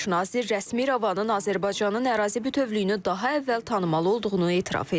Baş nazir rəsmi İrəvanın Azərbaycanın ərazi bütövlüyünü daha əvvəl tanımalı olduğunu etiraf edib.